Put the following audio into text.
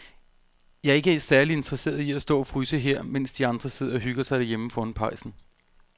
Jeg er ikke særlig interesseret i at stå og fryse her, mens de andre sidder og hygger sig derhjemme foran pejsen.